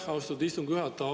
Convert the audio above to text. Aitäh, austatud istungi juhataja!